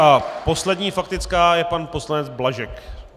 A poslední faktická je pan poslanec Blažek.